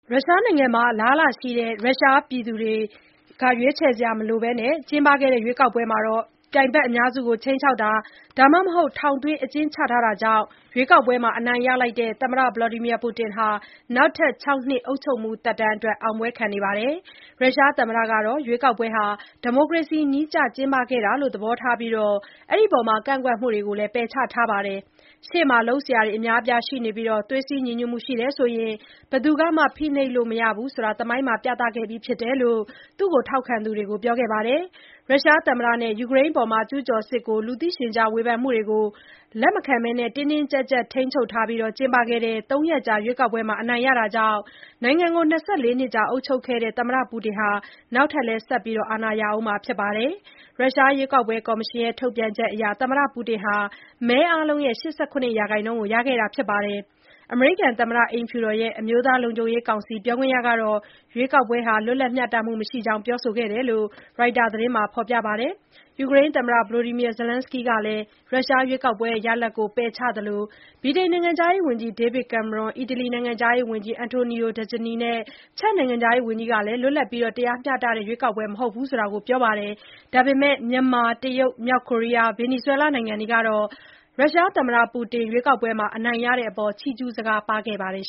ရုရှားနိုင်ငံမှာ အလားအလာရှိတဲ့ ပြိုင်ဘက်အများစုကို ခြိမ်းခြောက်တာ ဒါမှမဟုတ် ထောင်သွင်း အကျဉ်းချထားတာကြောင့် မဲဆန္ဒရှင်တွေ ရွေးချယ်စရာမရှိဘဲ ကျင်းပခဲ့တဲ့ ရွေးကောက်ပွဲမှာ အနိုင်ရလိုက်တဲ့ သမ္မတ Vladimir Putin ဟာ နောက်ထပ် ၆ နှစ် အုပ်ချုပ်မှု သက်တမ်းအတွက် အောင်ပွဲခံခဲ့ပါတယ်။ ရုရှားသမ္မတကတော့ ရွေးကောက်ပွဲဟာ ဒီမိုကနေစီနည်းကျ ကျင်းပခဲ့တာလို့ သဘောထားခဲ့ပြီး၊ ကန့်ကွက်မှုတွေကိုလည်း ပယ်ချခဲ့ပါတယ်။ ရှေ့မှာ လုပ်စရာတွေ အများအပြားရှိနေပြီး၊ သွေးစည်းညီညွှတ်မှု ရှိတယ်ဆိုရင် ဘယ်သူကမှ ဖိနှိပ်လို့မရဘူးဆိုတာ သမိုင်းမှာ ပြသခဲ့ပြီးဖြစ်တယ်လို့လည်း ထောက်ခံသူတွေကို ပြောခဲ့တာပါ။ ရုရှားသမ္မတနဲ့၊ ယူကရိန်းအပေါ် ကျုးကျော်စစ်ကို လူသိရှင်ကြား ဝေဖန်မှုတွေကို လက်မခံဘဲ တင်းတင်းကျပ်ကျပ် ထိန်းချုပ်ထားပြီး ကျင်းပခဲ့တဲ့ ၃ ရက်ကြာ ရွေးကောက်ပွဲမှာ အနိုင်ရတာကြောင့် ၂၄ နှစ်ကြာ အုပ်ချုပ်နေတဲ့ သမ္မတပူတင် နောက်ထပ် ဆက်ပြီး အာဏာရဦးမှာ ဖြစ်ပါတယ်။ ရုရှားရွေးကောက်ပွဲ ကော်မရှင်ရဲ့ ထုတ်ပြန်ချက်အရ သမ္မတပူတင်က မဲအားလုံးရဲ့ ၈၇ ရာခိုင်နှုန်း ရခဲ့တာပါ။ အမေရိကန် သမ္မတအိမ်ဖြူတော် အမျိုးသားလုံခြုံရေးကောင်စီ ပြောခွင့်ရကတော့ ရွေးကောက်ပွဲဟာ လွတ်လပ်မျှတမှု မရှိကြောင်း ပြောဆိုခဲ့တယ်လို့လည်း Reuters သတင်းက ဖော်ပြပါတယ်။ ယူကရိန်းသမ္မတ Volodymyr Zelensky ကလည်း ရွေးကောက်ပွဲ ရလဒ်ကို ပယ်ချခဲ့သလို၊ ဗြိတိန်နိုင်ငံခြားရေးဝန်ကြီး ဒေးဗစ်ကင်မရွန်း၊ အီတလီနိုင်ငံခြားရေးဝန်ကြီး Antonio Tajani နဲ့ ချက်နိုင်ငံခြားရေးဝန်ကြီး Jan Lipavsky တို့ကလည်းလွတ်လပ်ပြီး တရားမျှတတဲ့ ရွေးကောက်ပွဲ မဟုတ်ဘူးလို့ ပြောပါတယ်။ မြန်မာ၊ တရုတ်၊ မြောက်ကိုရီးယား၊ ဗင်နီဇွဲလား စတဲ့နိုင်ငံတွေကတော့ သမ္မတပူတင် ရွေးကောက်ပွဲ အနိုင်ရတဲ့အပေါ် ချီးကျုးစကားပါးခဲ့ကြပါတယ်